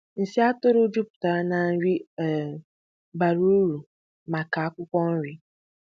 Nsị atụrụ jupụtara na nri um bara uru maka akwụkwọ nri.